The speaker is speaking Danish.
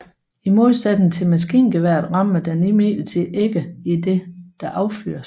I modsætning til maskingeværet rammer den imidlertid ikke idet der affyres